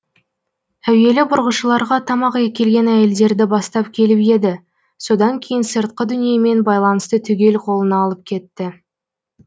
әуелі бұрғышыларға тамақ әкелген әйелдерді бастап келіп еді содан кейін сыртқы дүниемен байланысты түгел қолына алып кетті